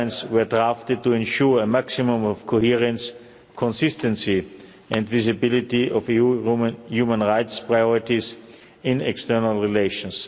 guidelines were drafted to ensure a maximum of coherence, consistency and visibility of human rights priorities in external relations.